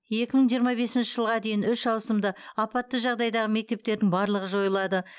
екі мың жиырма бесінші жылға дейін үш ауысымды апатты жағдайдағы мектептердің барлығы жойылады